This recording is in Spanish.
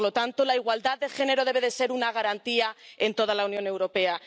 Por lo tanto, la igualdad de género debe ser una garantía en toda la Unión Europea.